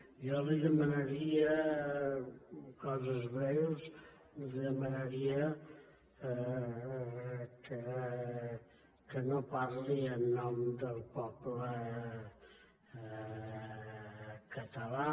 jo li demanaria coses breus li demanaria que no parli en nom del poble català